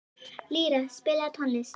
Lýra, spilaðu tónlist.